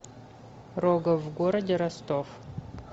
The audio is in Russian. рогов в городе ростов